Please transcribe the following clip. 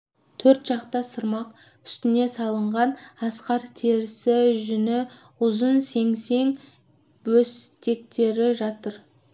төр жақта сырмақ үстіне салынған арқар терісі жүні ұзын сеңсең бөстектер жатыр